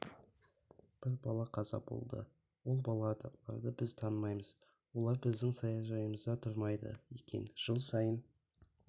бір бала қаза болды ол балаларды біз танымаймыз олар біздің саяжайымызда тұрмайды екен жыл сайын